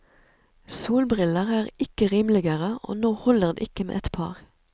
Solbriller er ikke rimeligere, og nå holder det ikke med ett par.